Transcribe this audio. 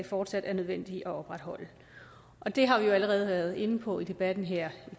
fortsat er nødvendige at opretholde og det har vi jo allerede været inde på i debatten her